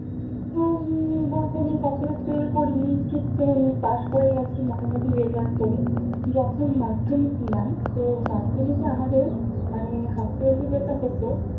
হম বলতে আমি কখনো ফেল করি নি ঠিক পাস করে গেছি মোটামোটি রেজাল্ট করে যখন মাধ্যমিক দিলাম তো মাধ্যমিকে আমাদের মানে half yearly যেটা হতো